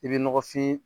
I bɛ nɔgɔfin